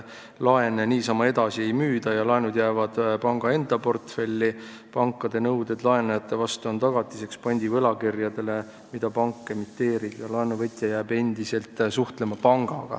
Laene niisama edasi ei müüda, need jäävad panga enda portfelli, pankade nõuded laenajate vastu on tagatiseks pandivõlakirjadele, mida pank emiteerib, ja laenuvõtja jääb endiselt pangaga suhtlema.